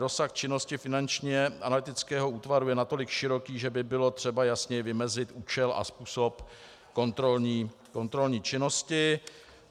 Rozsah činnosti Finančního analytického útvaru je natolik široký, že by bylo třeba jasněji vymezit účel a způsob kontrolní činnosti.